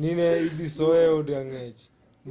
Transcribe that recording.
ni ne idhi soye eod ang'ech